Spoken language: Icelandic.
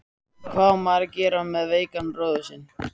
Hvað á maður að gera með veikan bróður sinn?